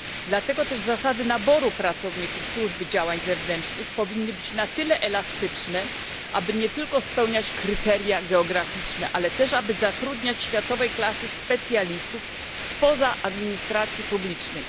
Dlatego też zasady naboru pracowników Służby Działań Zewnętrznych powinny być na tyle elastyczne, aby nie tyko spełniać kryteria geograficzne, ale także aby zatrudniać światowej klasy specjalistów spoza administracji publicznej.